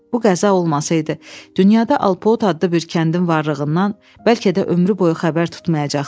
Bu qəza olmasaydı, dünyada Alpot adlı bir kəndin varlığından bəlkə də ömrü boyu xəbər tutmayacaqdı.